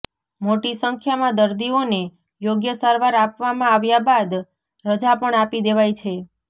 મોટી સંખ્યામાં દર્દીઓને યોગ્ય સારવાર આપવામાં આવ્યા બાદ રજા પણ આપી દેવાઈ છે